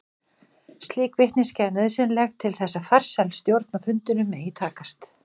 Slík vitneskja er nauðsynleg til þess að farsæl stjórn á fundinum megi takast.